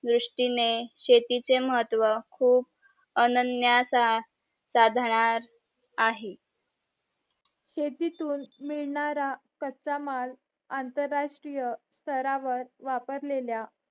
दृष्टीने शेतीचे महत्व खूप अनन्यासा साधणार आहे शेतीतून मिळानारा कच्चा माल आंतरराष्ट्रीय थरावर वापरलेल्या